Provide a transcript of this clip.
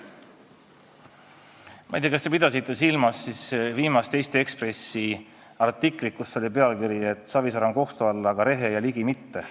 Ma ei tea, kas te pidasite silmas artiklit viimases Eesti Ekspressis, mille pealkirjas öeldi, et Savisaar on kohtu all, aga Rehe ja Ligi mitte.